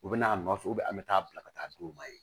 U bɛna a nɔfɛ an bɛ taa bila ka taa d'u ma yen